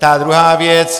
Ta druhá věc.